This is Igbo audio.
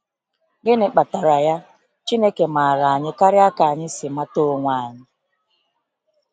Gịnị kpatara ya, Chineke maara anyị karịa ka anyị si mata onwe anyị!